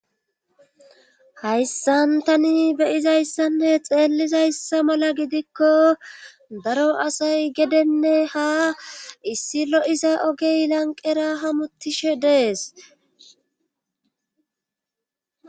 hayssan tani beyizayssanne xeellizayssa mala gidikko daro asay gedenne ha issi lo7iza ogey lanqera hamuttishe dees